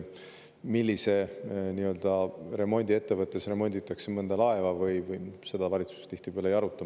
Millises remondiettevõttes remonditakse mõnda laeva, seda valitsus tihtipeale ei aruta.